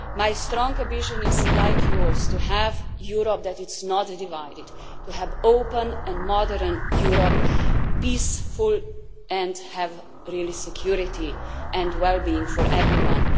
My strong vision is like yours to have a Europe that is not divided to have an open and modern Europe, peaceful and with real security and wellbeing for everyone.